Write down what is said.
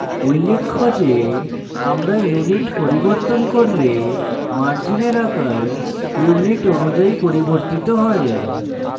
উল্লেখ্য যে আমরা unit পরিবর্তন করলে margin আকার unit অনুযায়ী পরিবর্তিত হয়